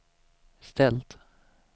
ställt